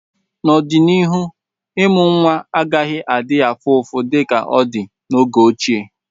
n'ọdịnihu, ịmụ nwa agaghị adị afụfụ dịka ọ dị na oge ochie